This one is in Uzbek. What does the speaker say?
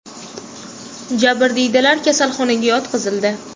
Jabrdiydalar kasalxonaga yotqizildi.